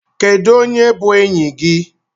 Kedu onye bu enyi gi?